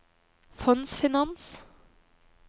fondsfinans